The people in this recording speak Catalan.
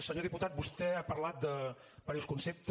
senyor diputat vostè ha parlat de diversos conceptes